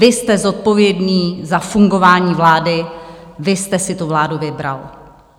Vy jste zodpovědný za fungování vlády, vy jste si tu vládu vybral.